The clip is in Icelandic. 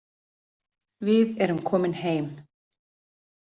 Við erum komin heim